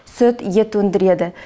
сүт ет өндіреді